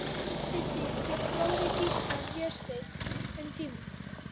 Undir því bjó bróðir Gísla, Vésteinn, um tíma.